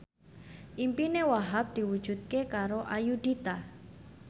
impine Wahhab diwujudke karo Ayudhita